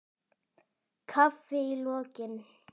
Kaffi í lokin.